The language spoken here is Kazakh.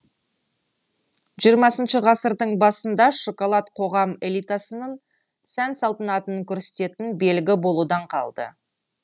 жиырмасыншы ғасырдың басында шоколад қоғам элитасының сән салтанатын көрсететін белгі болудан қалды